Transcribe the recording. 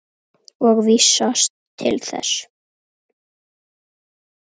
og vísast til þess.